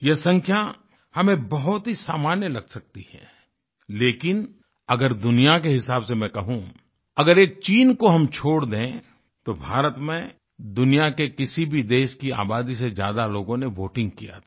यह संख्या हमें बहुत ही सामान्य लग सकती है लेकिन अगर दुनिया के हिसाब से मैं कहूँ अगर एक चीन को हम छोड़ दे तो भारत में दुनिया के किसी भी देश की आबादी से ज्यादा लोगों ने वोटिंग किया था